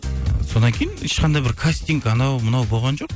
і содан кейін ешқандай бір кастинг анау мынау болған жоқ